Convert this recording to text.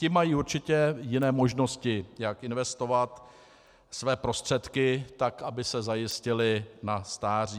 Ti mají určitě jiné možnosti, jak investovat své prostředky tak, aby se zajistili na stáří.